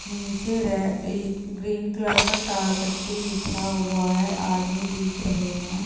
नीचे green colour का तार पट्टी बिछा हुआ है आदमी दिख रहे हैं।